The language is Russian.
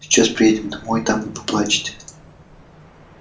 сейчас приедем домой там вы поплачете